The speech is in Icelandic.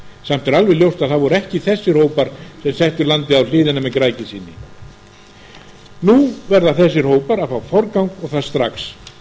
er alveg ljóst að það voru ekki þessir hópar sem settu landið á hliðina með græðgi sinni nú verða þessir hópar að fá forgang og það strax